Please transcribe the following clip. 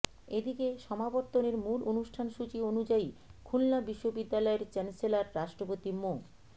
এদিকে সমাবর্তনের মূল অনুষ্ঠান সূচি অনুযায়ী খুলনা বিশ্ববিদ্যালয়ের চ্যান্সেলর রাষ্ট্রপতি মো